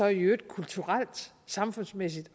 i øvrigt kulturelt og samfundsmæssigt